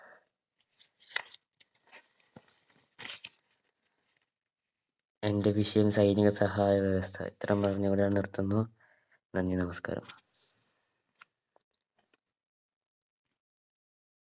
എൻറെ വിഷയം കഴിഞ്ഞു ഇത്രേം പറഞ്ഞ് ഞാനിവിടെ നിർത്തുന്നു നന്ദി നമസ്ക്കാരം